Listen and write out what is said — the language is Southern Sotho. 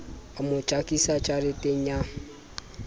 a mo jakisa jareteng ya